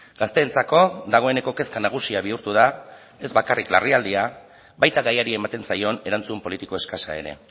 gazteentzako dagoeneko kezka nagusia bihurtu da ez bakarrik larrialdia baita gaiari ematen zaion erantzun politiko eskasa ere